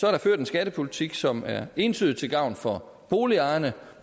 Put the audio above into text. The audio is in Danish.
er ført en skattepolitik som er entydigt til gavn for boligejerne